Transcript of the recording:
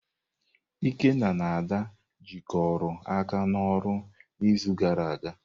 Ikenna na Ada jikọrọ aka n'ọrụ n'izu gara aga.